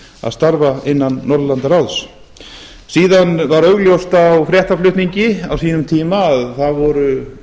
að starfa innan norðurlandaráðs síðan var augljóst á fréttaflutningi á sínum tíma að að það voru